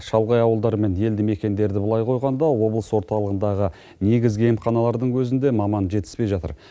шалғай ауылдар мен елді мекендерді былай қойғанда облыс орталығындағы негізгі емханалардың өзінде маман жетіспей жатыр